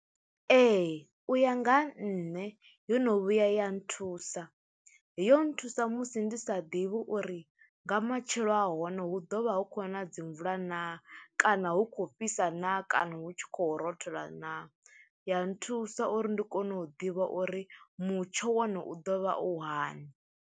Ee u ya nga nṋe yo no vhuya ya nthusa, yo nthusa musi ndi sa ḓivhi uri nga matshilo a hone hu ḓovha hu kho na dzi mvula na kana hu kho fhisa na kana hu tshi khou rothola na, ya nthusa uri ndi kone u ḓivha uri mutsho wo no u ḓo vha u hani.